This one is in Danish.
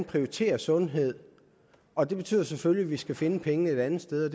prioritere sundhed og det betyder selvfølgelig at vi skal finde pengene et andet sted